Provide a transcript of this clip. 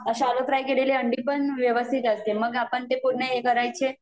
shallow fry केलेले अंडी पण व्यवस्थित असते मग आपण ते पूर्ण ही करायचे